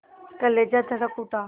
कलेजा धड़क उठा